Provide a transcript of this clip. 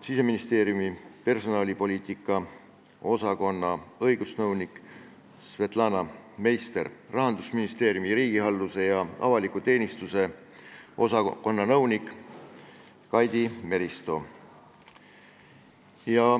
Siseministeeriumi personalipoliitika osakonna õigusnõunik Svetlana Meister ning Rahandusministeeriumi riigihalduse ja avaliku teenistuse osakonna nõunik Kaidi Meristo.